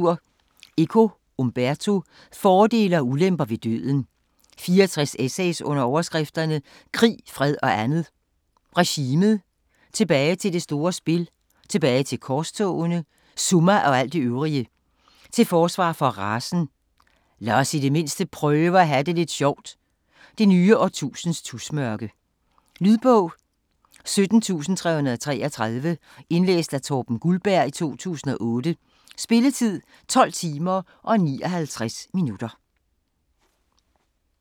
Eco, Umberto: Fordele og ulemper ved døden 64 essays under overskrifterne: Krig, fred og andet; Regimet; Tilbage til det store spil; Tilbage til korstogene; Summa og alt det øvrige; Til forsvar for racen; Lad os i det mindste prøve at have det lidt sjovt; Det nye årtusinds tusmørke. Lydbog 17333 Indlæst af Torben Guldberg, 2008. Spilletid: 12 timer, 59 minutter.